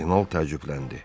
Kardinal təəccübləndi.